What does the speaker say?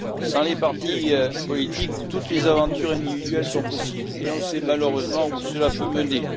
Sans les partis politiques, toutes les aventures individuelles sont possibles et on sait malheureusement où cela peut mener.